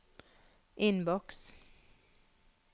innboks